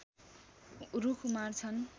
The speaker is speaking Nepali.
रुख उमार्छन्